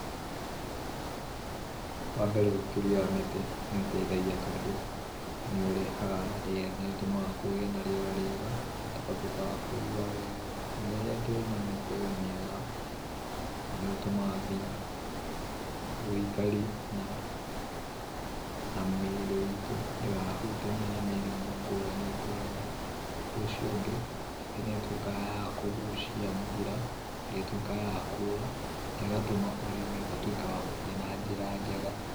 Wambere ũkũria wa mĩtĩ nĩ ũteithagia tondũ, nĩ ũrehaga, nĩ ũtũmaga gũkagĩa na rĩera rĩega. Na tũgatuĩka a kũigua wega, na rĩrĩa twĩna mĩtĩ mĩega nĩ ũtũmaga nginya ũikari na mĩĩrĩ ĩtũ ndĩkahutanie na mĩrimũ ngũrani. Ũndũ ũcio ũngĩ mĩtĩ nĩ ĩtuĩkaga ya kũgucia mbũra, ĩrĩa ĩtuĩkaga ya kuura, na ĩgatũma ũrĩmi ũtuĩke wa gũthiĩ na njĩra njega.